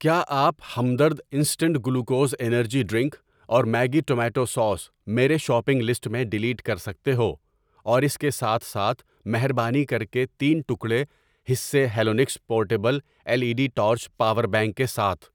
کیا آپ Hamdard instant glucose energy drink اور میگی ٹومیٹو سوس میرے شاپنگ لسٹ میں ڈلیٹ کر سکتے ہو ۔ اور اس کے ساتھ ساتھ مہربانی کر کے تین ٹکڑے, حصے ہیلونکس پورٹیبل ایک E D torch power bank کے ساتھ ۔